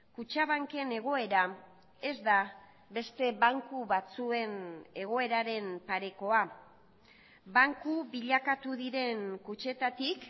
kutxabanken egoera ez da beste banku batzuen egoeraren parekoa banku bilakatu diren kutxetatik